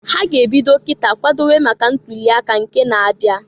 Ha ga -ebido kita kwadowe maka ntuli aka nke na-abia.